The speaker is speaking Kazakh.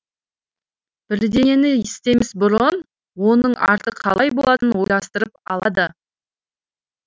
бірдеңені істемес бұрын оның арты қалай болатынын ойластырып алады